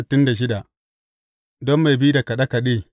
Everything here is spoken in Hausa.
Don mai bi da kaɗe kaɗe.